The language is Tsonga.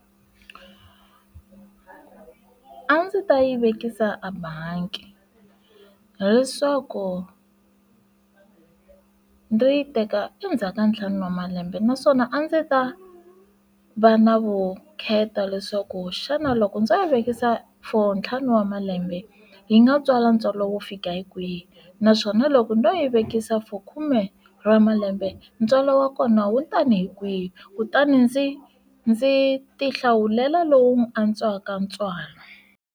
A ndzi ta yi vekisa a bangi leswaku no yi teka endzhaku ka ntlhanu wa malembe naswona a ndzi ta va na vukheta leswaku xana loko ndzo yi vekisa for ntlhanu wa malembe yi nga tswala ntswalo wo fika hi kwihi naswona loko ndzo yi vekisa for khume wa malembe ntswalo wa kona wu tani hi kwihi kutani ndzi ndzi ti hlawulela lowu u ni antswaka ntswalo.